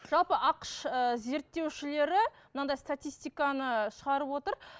жалпы ақш ыыы зерттеушілері мынандай статистиканы шығарып отыр